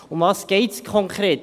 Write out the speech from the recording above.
Worum geht es konkret?